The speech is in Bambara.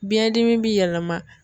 Biɲɛn dimi bi yɛlɛma.